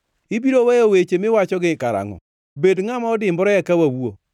“Ibiro weyo weche miwachogi karangʼo? Bed ngʼama odimbore eka wawuo.